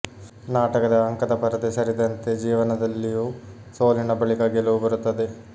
ನಾಟಕದ ಅಂಕದ ಪರದೆ ಸರಿದಂತೆ ಜೀವನದಲ್ಲಿಯೂ ಸೋಲಿನ ಬಳಿಕ ಗೆಲುವು ಬರುತ್ತದೆ